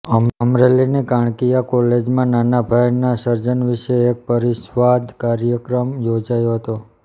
અમરેલી ની કાણકિયા કોલેજમાં નાનાભાઈ ના સર્જન વિશે એક પરિસંવાદ કાર્યક્રમ યોજાયો હતો